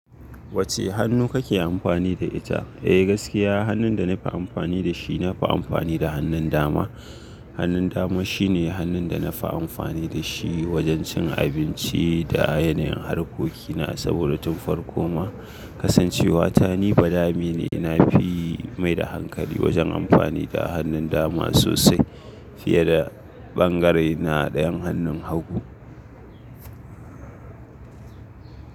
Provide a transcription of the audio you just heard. Wacce hannu kake amfani da ita? Eh gaskiya hannun da nafi amfani da shi nafi amfani da hannun dama. Hannun dama shine hannun da nafi amfani da shi wajen cin abinci da yanayin harkokina saboda tun farko ma kasancewata ni badami ne. Nafi mai da hankali wajen amfani da hannun dama sosai fiye da bangarena dayan hannun hagu.